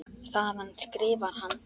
Þaðan skrifar hann